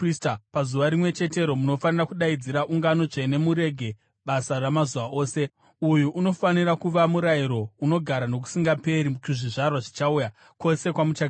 Pazuva rimwe chetero munofanira kudaidzira ungano tsvene murege basa ramazuva ose. Uyu unofanira kuva murayiro unogara nokusingaperi kuzvizvarwa zvichauya, kwose kwamuchagara.